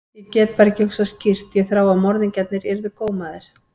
Ég gat bara ekki hugsað skýrt, ég þráði að morðingjarnir yrðu gómaðir.